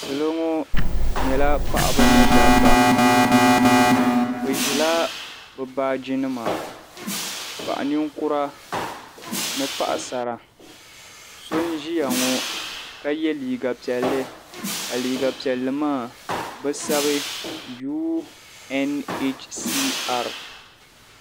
Salo ŋɔ nyɛla paɣiba ni dabba. Bɛ ʒila bɛ baajinima. Paɣ' ninkura ni paɣisara. So n-ʒia ŋɔ ka ye liiga piɛlli ka liiga piɛlli maa bɛ sabi UNHCR.